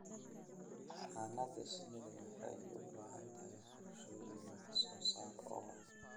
Xannaanada shinnidu waxay u baahan tahay qorshooyin wax soo saar oo waara.